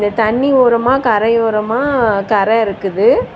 தண்ணி ஓரமா கரையோரமா கரை இருக்குது.